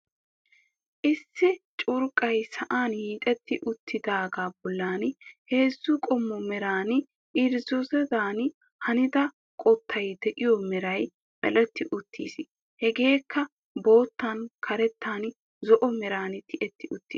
issi curqqay sa'an hiixetti uttidaaga bolli heezzu qommo meran irzziizodan hanida qottay de'iyo meray medhdhetti uttiis. hegekka boottan, karettan, zo'o meran tiyyetti uttiis.